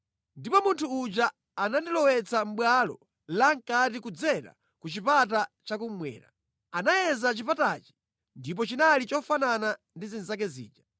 Ndipo munthu uja anandilowetsa mʼbwalo lamʼkati kudzera ku chipata chakummwera. Anayeza chipatachi ndipo chinali chofanana ndi zinzake zija.